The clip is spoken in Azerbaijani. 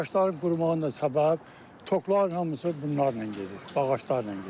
Ağacların qurumağının da səbəbi tokların hamısı bunlarla gedir, ağaclarla gedir.